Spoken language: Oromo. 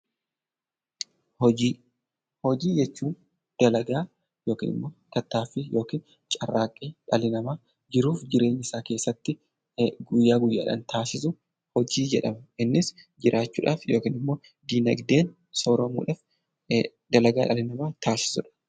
Hojii. Hojii jechuun dalagaa yookaan immoo tattaaffii yookaan carraaqqii ilmi namaa jiruu fi jireenya isaa guyyaa guyyaa Keessatti taasisu hojii jedhama. Innis jiraachuudhaaf yookaan dinaagdeedhaan sooromuudhaaf dalagaa dhalli namaa taasisudha.